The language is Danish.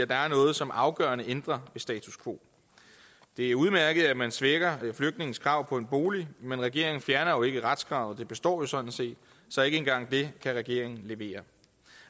der er noget som afgørende ændrer ved status quo det er udmærket at man svækker flygtninges krav på en bolig men regeringen fjerner jo ikke retskravet det består sådan set så ikke engang det kan regeringen levere